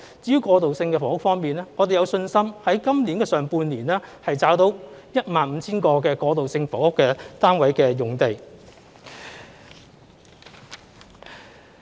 至於過渡性房屋方面，我們有信心在今年上半年，找到 15,000 個過渡性房屋單位的用地。